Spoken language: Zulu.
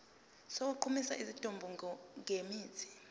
sokugqumisa isidumbu ngemithi